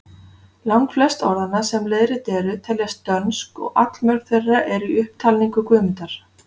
Langflest orðanna, sem leiðrétt eru, teljast dönsk og allmörg þeirra eru í upptalningu Guðmundar.